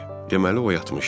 Deməli o yatmışdı.